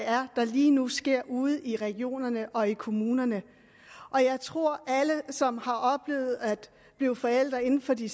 er der lige nu sker ude i regionerne og i kommunerne og jeg tror at alle som har oplevet at blive forældre inden for de